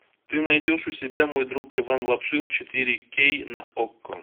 ты найдешь у себя мой друг иван лапшин четыре кей на окко